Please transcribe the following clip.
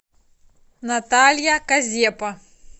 наталья казепа